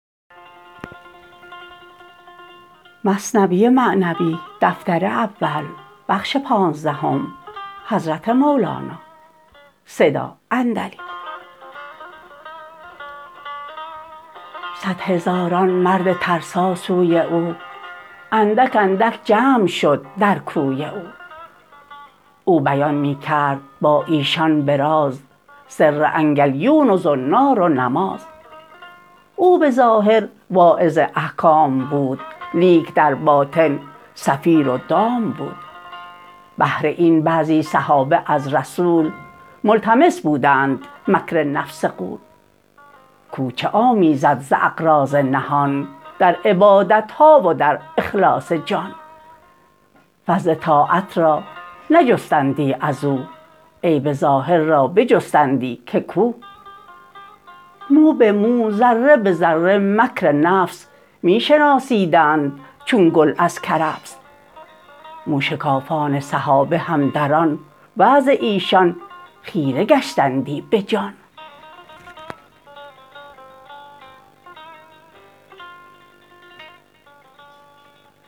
صد هزاران مرد ترسا سوی او اندک اندک جمع شد در کوی او او بیان می کرد با ایشان به راز سر انگلیون و زنار و نماز او به ظاهر واعظ احکام بود لیک در باطن صفیر و دام بود بهر این بعضی صحابه از رسول ملتمس بودند مکر نفس غول کو چه آمیزد ز اغراض نهان در عبادتها و در اخلاص جان فضل طاعت را نجستندی ازو عیب ظاهر را بجستندی که کو مو به مو و ذره ذره مکر نفس می شناسیدند چون گل از کرفس موشکافان صحابه هم در آن وعظ ایشان خیره گشتندی بجان